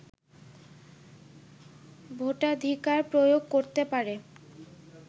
ভোটাধিকার প্রয়োগ করতে পারে